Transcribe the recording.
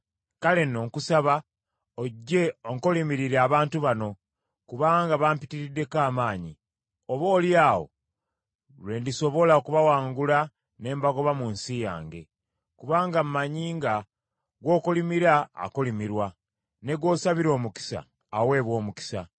Kale nno, nkusaba ojje onkolimirire abantu bano, kubanga bampitiridde amaanyi. Oboolyawo lwe ndisobola okubawangula ne mbagoba mu nsi yange. Kubanga mmanyi nga gw’okolimira akolimirwa, ne gw’osabira omukisa aweebwa omukisa.”